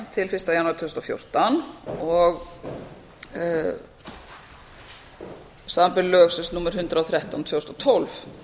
til fyrsta janúar tvö þúsund og fjórtán samanber lög númer hundrað og þrettán tvö þúsund og tólf